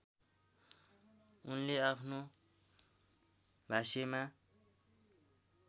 उनले आफ्नो भाष्यमा